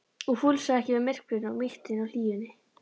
og fúlsaði ekki við myrkrinu og mýktinni og hlýjunni.